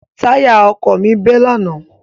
Táyà ọkọ̀ mi bẹ́ lánàá.